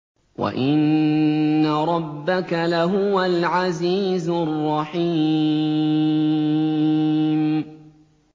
وَإِنَّ رَبَّكَ لَهُوَ الْعَزِيزُ الرَّحِيمُ